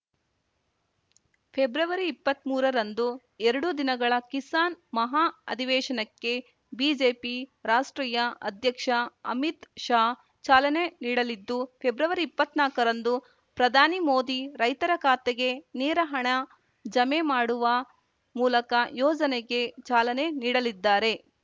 ಫೆಬ್ರವರಿಇಪ್ಪತ್ಮೂರರಂದು ಎರಡು ದಿನಗಳ ಕಿಸಾನ್‌ ಮಹಾ ಅಧಿವೇಶನಕ್ಕೆ ಬಿಜೆಪಿ ರಾಷ್ಟ್ರೀಯ ಅಧ್ಯಕ್ಷ ಅಮಿತ್‌ ಶಾ ಚಾಲನೆ ನೀಡಲಿದ್ದು ಫೆಬ್ರವರಿಇಪ್ಪತ್ನಾಕಾರಂದು ಪ್ರಧಾನಿ ಮೋದಿ ರೈತರ ಖಾತೆಗೆ ನೇರ ಹಣ ಜಮೆ ಮಾಡುವ ಮೂಲಕ ಯೋಜನೆಗೆ ಚಾಲನೆ ನೀಡಲಿದ್ದಾರೆ